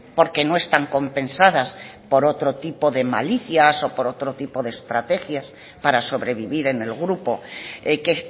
porque no están compensadas por otro tipo de malicias o por otro tipo de estrategias para sobrevivir en el grupo que